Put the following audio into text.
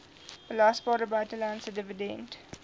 belasbare buitelandse dividend